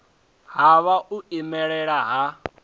ha nha u imelela ha